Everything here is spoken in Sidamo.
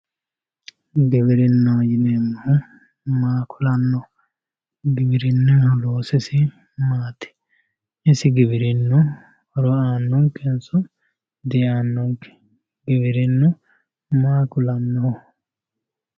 giwirinnaho yineemmohu maa kulanno giwirinnaho loosisi maati isi giwirinnu horo aannonkenso diaannonke giwirinnu maa kulannoho.